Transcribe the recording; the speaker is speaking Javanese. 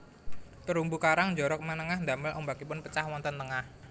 Terumbu karang njorok manengah ndamel ombakipun pecah wonten tengah